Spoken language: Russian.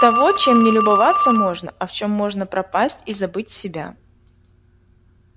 того чем не любоваться можно а в чём можно пропасть и забыть себя